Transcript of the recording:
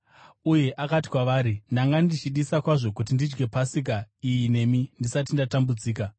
Uye akati kwavari, “Ndanga ndichidisa kwazvo kuti ndidye Pasika iyi nemi ndisati ndatambudzika.